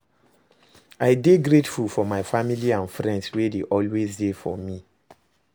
I dey grateful for my family and friends wey dey always dey for me.